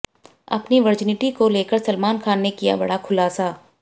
अपनी वर्जिनिटी को लेकर सलमान खान ने किया बड़ा खुलासा